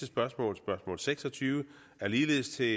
spørgsmål spørgsmål seks og tyve er ligeledes til